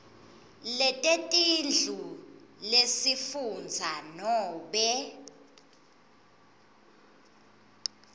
letetindlu lesifundza nobe